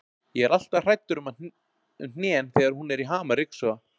Ég er alltaf hræddur um hnén þegar hún er í ham að ryksuga.